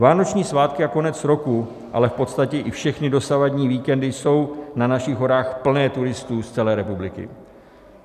Vánoční svátky a konec roku, ale v podstatě i všechny dosavadní víkendy jsou na našich horách plné turistů z celé republiky.